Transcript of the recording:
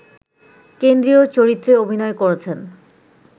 কেন্দ্রীয় চরিত্রে অভিনয় করেছেন